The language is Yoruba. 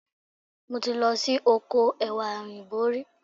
Mo ti lọ sí oko Ẹ̀wà Òyìnbó rí.